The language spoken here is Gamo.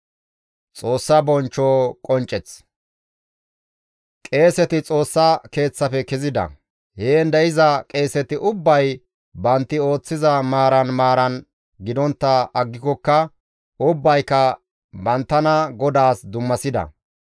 Qeeseti Xoossa Keeththafe kezida; heen de7iza qeeseti ubbay bantti ooththiza maaran maaran gidontta aggikokka ubbayka banttana GODAAS dummasida.